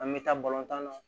An bɛ taa tan na